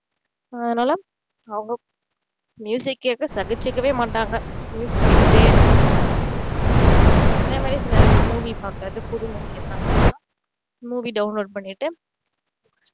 அதனால அவங்க கேக்குறத சகிச்சுக்கவே மாட்டாங்க கேட்டுட்டே இருப்பாங்க சின்னவயசுல எனக்கு movie பாக்குறது புது movie எல்லாம் வந்துச்சுன்னா movie download பண்ணிட்டு